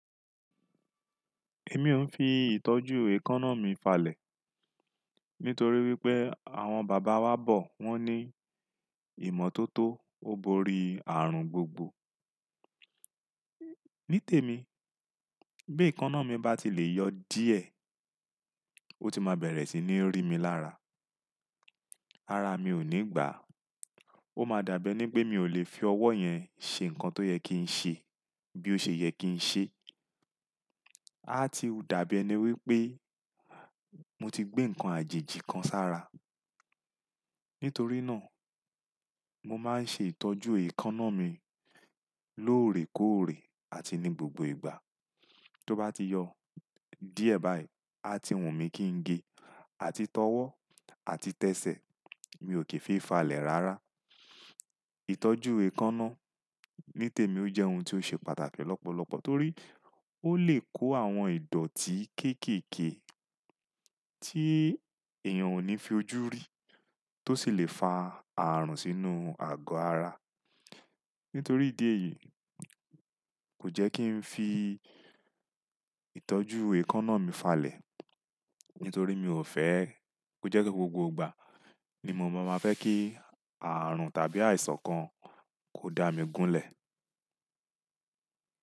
Èmi ò ń fi ìtọ́jú èékánná mi falẹ̀ nítorí wípé àwọn bàbá wa bọ̀ wón ní ìmọ́tótó ó borí ààrùn gbogbo. Ní tèmi bí èékánná mi bá ti lè yọ díẹ̀, ó ti má bẹ̀rẹ̀ sí ní rí mi lára. Ara mi ò ní gbà á, ó máa dàbí ẹni pé mi ò lè fi ọwọ́ yẹn ṣe nǹkan tó yẹ kí n ṣe bí ó ṣe yẹ kí n ṣe. Á ti dàbí ẹni wípé mo ti gbé ǹkan àjèjì kan sára. Nítorí náà mo máa ń ṣe ìtọ́jú èékánná mi lóòrèkóòrè àti ní gbogbo ìgbà. Tó bá ti yọ díẹ̀ báyìí, á ti wùn mí kí n ge àti tọwọ́ àti tẹsẹ̀, mi ò kì í fi falẹ̀ rárá. Ìtọ́jú èékánná ní tèmi ó jẹ́ ohun tí ó ṣe pàtàkì lọ́pọ̀lọpọ̀ torí ó lè kó àwọn ìdọ̀tí kéékèèké tí èèyàn ò ní fi ojú rí tó sì lè fa ààrùn sínú ago ara. Nítorí ìdí èyí kò jẹ́ kí ń fi ìtọ́jú èékánná mi falẹ̀, nítorí mi ò fẹ́ kó jẹ́ pé gbogbo ìgbà ni mo máa fẹ́ kí ààrùn tàbí àìsàn kan kó dá mi gúnlẹ̀.